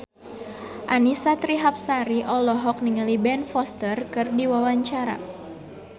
Annisa Trihapsari olohok ningali Ben Foster keur diwawancara